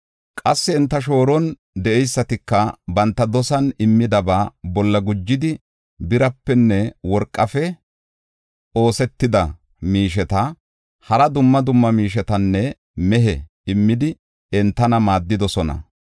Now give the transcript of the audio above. Qassi enta shooron de7eysatika banta dosan immidaba bolla gujidi, birapenne worqafe oosetida miisheta, hara dumma dumma miishetanne mehe immidi, enta maaddidosona.